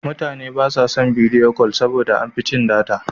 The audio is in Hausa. Mutane ba sa son bidiyo kol saboda da an fi cin data.